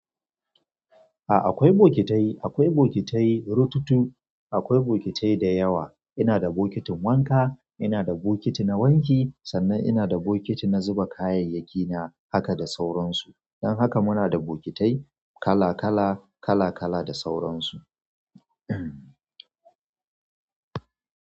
A akwai bokitai, akwai bokitai rututu, akwai bokitai dayawa. Ina da bokitin wanka, ina da bokiti na wanki, sannan ina da bokiti na zuba kayayyakina haka da sauransu. Don haka muna da bokitai kala kala kala kala da sauransu.